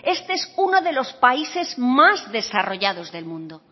este es uno de los países más desarrollados del mundo